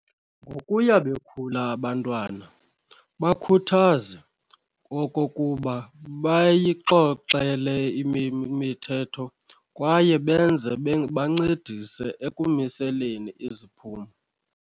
Ngokuya bekhula abantwana, bakhuthaze okokuba bayixoxele mithetho kwaye benze bancedise ekumiseleni iziphumo.